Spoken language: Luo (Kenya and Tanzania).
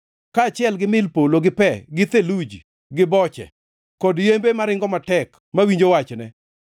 kaachiel gi mil polo gi pe gi theluji gi boche, kod yembe maringo matek mawinjo wachne;